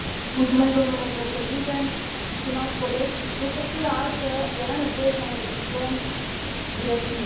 Domnule președinte, stimați colegi, este clar că era nevoie să modificăm directivele.